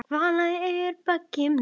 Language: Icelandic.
Vala er baggi minni.